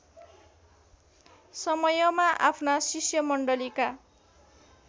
समयमा आफ्ना शिष्यमण्डलीका